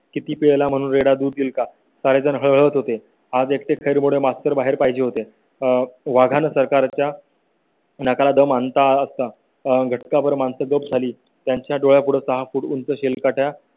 किती पय ला म्हणून रेडा दूध देईल का काहीजण हळहळत होते आणि त्यामुळे मास्टर बाहेर पाहिजे होते आह वाघांना सरकारच्या. नाकाला दम आणला असता आतां घटकाभर माणसं गप झाली त्यांच्या डोळ्या पुढे सहा फूट उंच असेल का